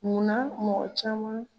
Mun na mɔgɔ caman